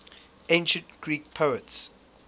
ancient greek poets